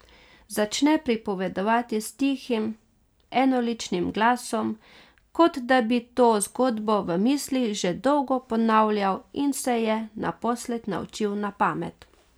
Začne pripovedovati s tihim, enoličnim glasom, kot da bi to zgodbo v mislih že dolgo ponavljal in se je naposled naučil na pamet.